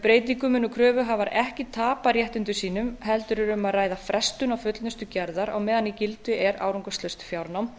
breytingunni munu kröfuhafar ekki tapa réttindum sínum heldur er um að ræða frestun á fullnustu gerðar á meðan í gildi er árangurslaust fjárnám